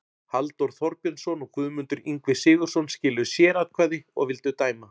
Halldór Þorbjörnsson og Guðmundur Ingvi Sigurðsson skiluðu sératkvæði og vildu dæma